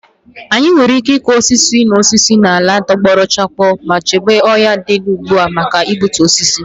Anyị nwere ike ịkụ osisi na osisi n'ala tọgbọrọ chakoo ma chebe ọhịa ndị dị ugbu a pụọ ​​na igbutu osisi.